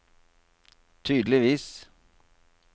tydeligvis